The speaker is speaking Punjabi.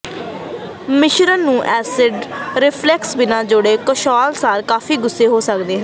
ਮਿਸ਼ਰਣ ਨੂੰ ਐਸਿਡ ਰੀਫਲਕਸ ਬਿਨਾ ਜੋੜੇ ਕਿਸ਼ੋਰ ਸਾਲ ਕਾਫ਼ੀ ਗੁੱਸੇ ਹੋ ਸਕਦੇ ਹਨ